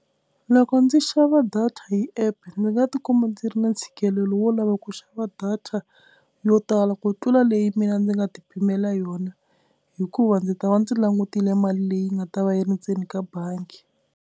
Loko ndzi xava data hi app ndzi nga tikuma ndzi ri na ntshikelelo wo lava ku xava data yo tala ku tlula leyi mina ndzi nga ti pimela yona hikuva ndzi ta va ndzi langutile mali leyi nga ta va yi ri ndzeni ka bangi.